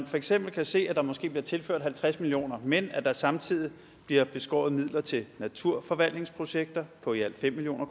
for eksempel se at der måske bliver tilført halvtreds million kr men at der samtidig bliver beskåret midler til naturforvaltningsprojekter på i alt fem million